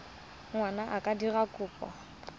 ngwana a ka dira kopo